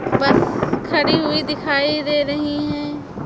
बस खड़ी हुई दिखाई दे रही है।